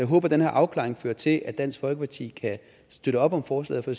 håber at den her afklaring fører til at dansk folkeparti kan støtte op om forslaget for